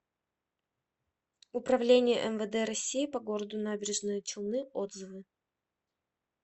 управление мвд россии по г набережные челны отзывы